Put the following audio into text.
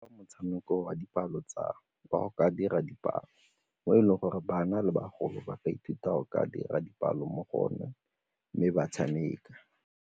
Motshameko wa dipalo tsa ba go ka dira dipalo mo e leng gore bana le bagolo ba ka ithuta go ka dira dipalo mo go one mme ba tshameka.